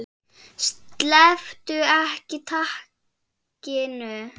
Slepptu ekki takinu.